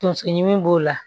Tonso ɲimi b'o la